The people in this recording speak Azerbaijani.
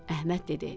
Əhməd dedi: